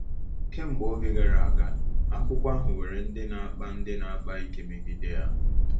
Kemgbe oge gara aga, akwụkwọ ahụ nwere ndị na-akpa ndị na-akpa ike megide ya.